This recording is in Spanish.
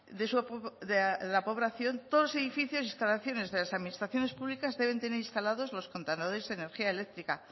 de la aprobación todos los edificios e instalaciones de las administraciones públicas deben tener instalados los contadores de energía eléctrica